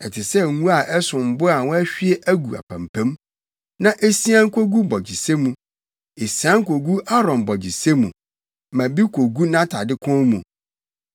Ɛte sɛ ngo a ɛsom bo a wɔahwie agu apampam, na esian kogu bɔgyesɛ mu, esian kogu Aaron bɔgyesɛ mu, ma bi kogu nʼatade kɔn mu.